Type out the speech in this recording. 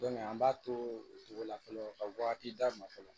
an b'a to o cogo la fɔlɔ ka wagati d'a ma fɔlɔ